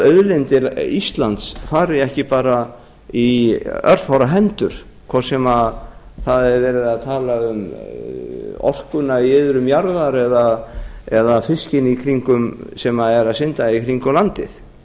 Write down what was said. auðlindir íslands fari ekki bara í örfárra hendur hvort sem það er verið að tala orkuna í iðrum jarðar eða fiskinn sem er